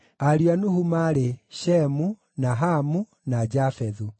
Ariũ a Nuhu maarĩ: Shemu, na Hamu, na Jafethu.